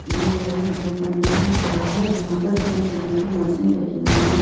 यह एक जिम करने की जगह है जहां पर जिम करने की मशीन रखी हुई है।